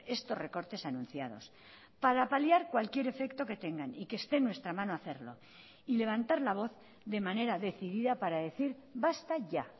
estos recortes anunciados para paliar cualquier efecto que tengan y que esté en nuestra mano hacerlo y levantar la voz de manera decidida para decir basta ya